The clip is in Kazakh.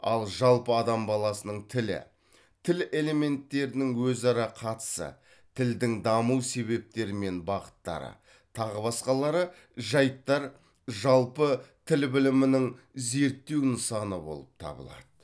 ал жалпы адам баласының тілі тіл элементтерінің өзара қатысы тілдің даму себептері мен бағыттары тағы басқалары жайттар жалпы тіл білімінің зерттеу нысаны болып табылады